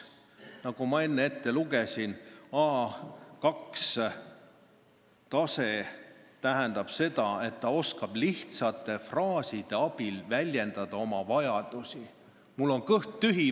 Nagu ma juba ütlesin, A2-tase tähendab seda, et inimene oskab lihtsate fraaside abil väljendada oma vajadusi: "Mul on kõht tühi.